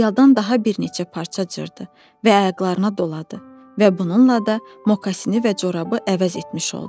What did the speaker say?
Ədyaldan daha bir neçə parça cırdı və ayaqlarına doladı və bununla da mokasini və corabı əvəz etmiş oldu.